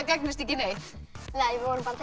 gagnist ekki neitt við vorum bara